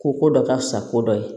Ko ko dɔ ka fisa ko dɔ ye